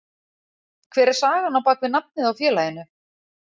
Hver er sagan á bakvið nafnið á félaginu?